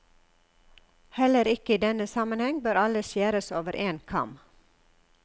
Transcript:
Heller ikke i denne sammenheng bør alle skjæres over én kam.